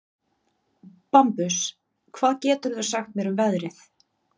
Bambus, hvað geturðu sagt mér um veðrið?